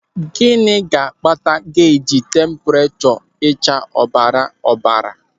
Gịnị ga-akpata geji tempurechọ ịcha ọbara ọbara?